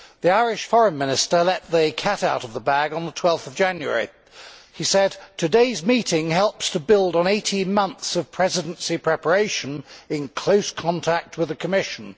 The Irish Foreign Minister let the cat out of the bag on 12 January he said, Today's meeting helped to build on 18 months of Presidency preparations in close contact with the Commission.